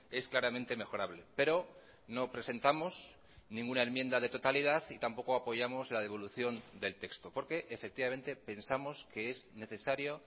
es claramente mejorable pero no presentamos ninguna enmienda de totalidad y tampoco apoyamos la devolución del texto porque efectivamente pensamos que es necesario